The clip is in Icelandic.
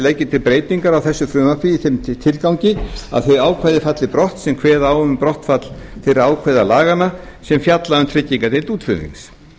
leggi til breytingar á þessu frumvarpi í þeim tilgangi að þau ákvæði falli brott sem kveða á um brottfall þeirra ákvæða laganna sem fjalla um tryggingardeild útflutnings